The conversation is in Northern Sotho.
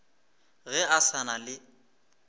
ge a sa na le